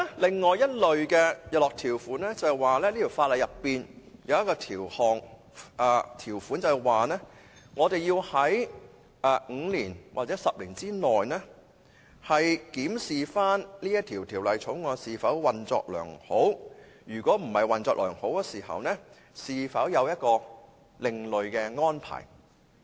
另一類的日落條款是在條例內有一項條款，規定我們要在5年或10年內檢視條例是否運作良好，如果不是運作良好，是否有另類安排。